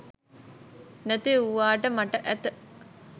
නැති වුවාට මට ඇත.